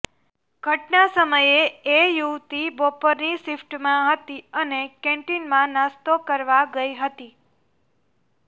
ઘટના સમયે એ યુવતી બપોરની શિફ્ટમાં હતી અને કેન્ટીનમાં નાસ્તો કરવા ગઈ હતી